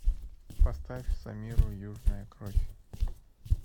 поставь самиру южная кровь